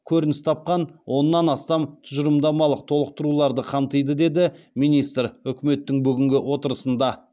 көрініс тапқан оннан астам тұжырымдамалық толықтыруларды қамтиды деді министр үкіметтің бүгінгі отырысында